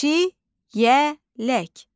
Çiyələk.